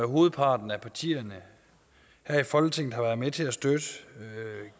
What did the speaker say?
hovedparten af partierne her i folketinget har været med til at støtte